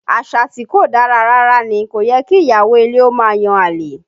Àṣà tí kò dára rárá ní, kò yẹ kí ìyàwó ilé ó máa yan àlè